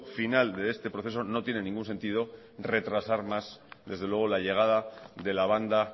final de este proceso no tiene ningún sentido retrasar más desde luego la llegada de la banda